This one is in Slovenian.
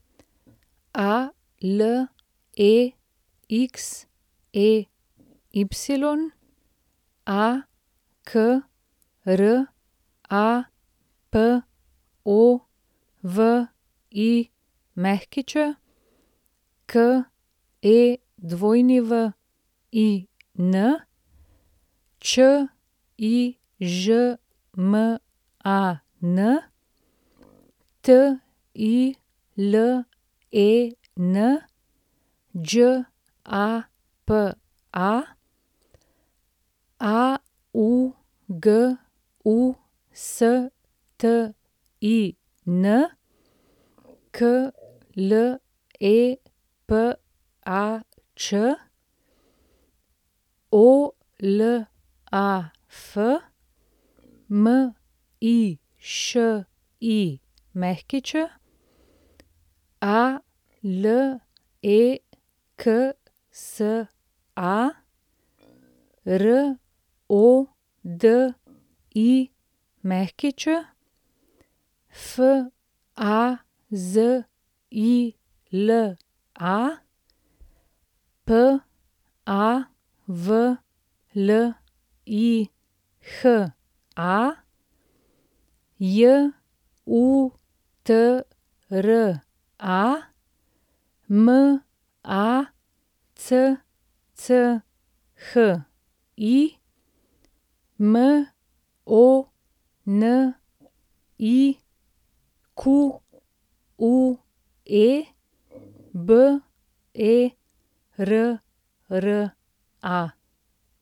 Alexey Akrapović, Kewin Čižman, Tilen Đapa, Augustin Klepač, Olaf Mišić, Aleksa Rodić, Fazila Pavliha, Jutra Macchi, Monique Berra.